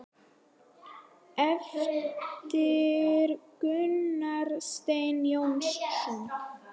eftir Gunnar Stein Jónsson